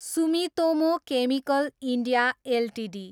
Sumitomo chemical India Ltd